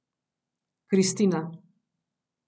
Kristina.